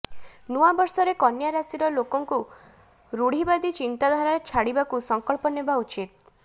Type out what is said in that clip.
ନୂଆବର୍ଷରେ କନ୍ୟା ରାଶିର ଲୋକଙ୍କୁ ରୁଢ଼ିବାଦୀ ଚିନ୍ତାଧାରା ଛାଡ଼ିବାକୁ ସଂକଳ୍ପ ନେବା ଉଚିତ